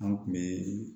An kun be